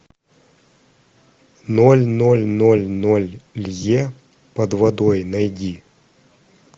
ноль ноль ноль ноль лье под водой найди